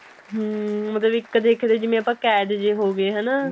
hm ਮਤਲਬ ਇੱਕ ਦੇਖੇ ਤਾਂ ਜਿਵੇਂ ਆਪਾਂ ਕੈਦ ਜੇ ਹੋ ਗਏ ਹਨਾ